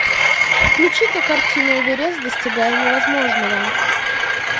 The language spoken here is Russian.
включи ка картину эверест достигая невозможного